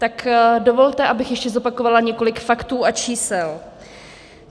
Tak dovolte, abych ještě zopakovala několik faktů a čísel.